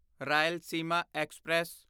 Rayalaseema express